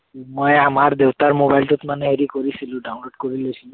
মই আমাৰ দেউতাৰ mobile টোত মানে হেৰি কৰিছিলো, download কৰি লৈছিলো।